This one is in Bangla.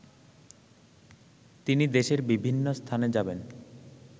তিনি দেশের বিভিন্ন স্থানে যাবেন